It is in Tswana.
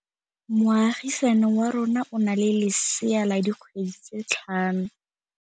Moagisane wa rona o na le lesea la dikgwedi tse tlhano.